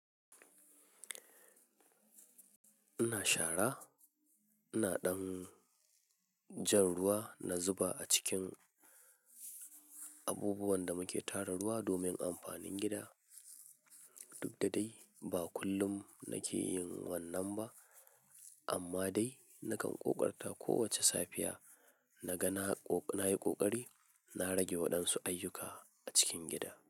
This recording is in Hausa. Ina shara, ina ɗan jan ruwa na zuba a cikin abubuwan da muke tara ruwa domin amfanin gida. Duk da dai ba kullum nake yin wannan ba amma dai nakan ƙoƙarta kowacce safiya na ga na yi ƙoƙari na rage waɗansu ayyuka a cikin gida.